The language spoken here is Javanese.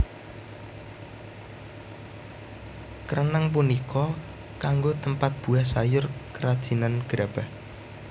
Kreneng punika kanggo tempat buah sayur kerajinan gerabah